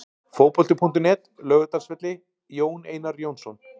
Fótbolti.net, Laugardalsvelli- Jón Einar Jónsson.